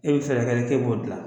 E bɛ fɛɛrɛ kɛ k'e b'o dilan